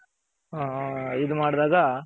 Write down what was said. ಹ್ಮ್ ಅದೆ ಇದ್ ಮಾಡ್ದಾಗ.